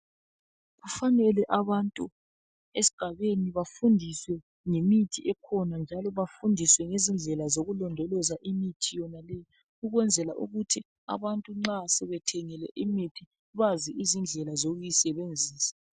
Kufanele abantu esgabeni bafundiswe ngemithi ekhona njalo bafundiswe ngezindlela zokulondoloza imithi yonaleyi ukwenzela ukuthi nxa abantu sebethengile imithi, bazi izindlela zokuyisebenzisa.